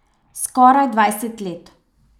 Skoraj dvajset let.